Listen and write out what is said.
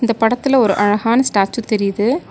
இந்த படத்துல ஒரு அழகான ஸ்டேச்சு தெரியிது.